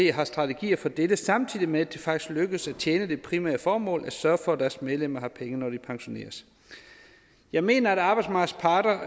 har strategier for dette samtidig med at det faktisk lykkes at tjene det primære formål at sørge for at deres medlemmer har penge når de pensioneres jeg mener at arbejdsmarkedets parter